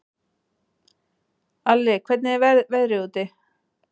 Alli, hvernig er veðrið úti?